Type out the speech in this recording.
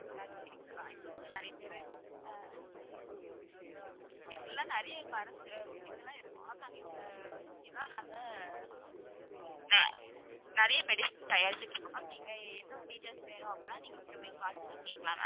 அதிகரிக்கிறதா இப்ப நீங்க நிறைய பேரு ஆஹ் இப்படி எல்லாம் நிறைய மருந்து அஹ் இதுலாம் இருக்கு ma'am நாங்க இதுல வச்சிலாம் நாங்க ஆஹ் நிறைய medicines தயாரிச்சிட்டு இருக்கோம் ma'am நீங்க இன்னும் detail வேணும் அப்படின்னா நீங்க திரும்பவும் call பண்ணி கேக்கலாம் ma'am